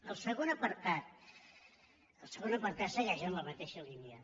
el segon apartat el segon apartat segueix en la mateixa línia